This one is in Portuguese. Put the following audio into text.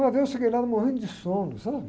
Uma vez eu cheguei lá morrendo de sono, sabe?